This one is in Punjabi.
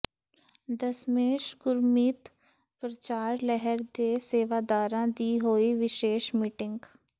ਦਸਮੇਸ਼ ਗੁਰਮਿਤ ਪ੍ਰਚਾਰ ਲਹਿਰ ਦੇ ਸੇਵਾਦਾਰਾਂ ਦੀ ਹੋਈ ਵਿਸ਼ੇਸ਼ ਮੀਟਿੰਗ